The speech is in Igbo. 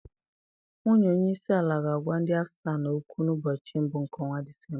Nwunye onye isi àlà ga-agwa ndị Afganịstan okwu na mbochi mbụ nke ọnwa Disemba.